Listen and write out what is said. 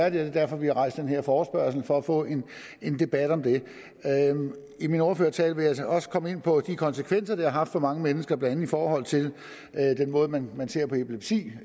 og det er derfor vi har rejst den her forespørgsel altså for at få en en debat om det i min ordførertale vil jeg så også komme ind på de konsekvenser det har haft for mange mennesker blandt andet i forhold til den måde man ser på epilepsi